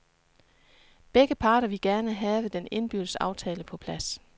Begge parter ville gerne have den indbyrdes aftale på plads.